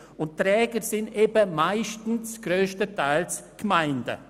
Die Träger sind eben meistens grösstenteils Gemeinden.